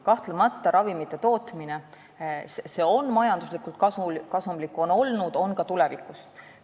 Kahtlemata, ravimite tootmine on alati olnud majanduslikult kasumlik ja on seda ka tulevikus.